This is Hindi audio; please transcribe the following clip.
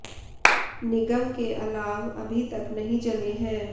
निगम के अलाव अभी तक नहीं जले हैं